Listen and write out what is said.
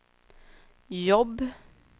jobb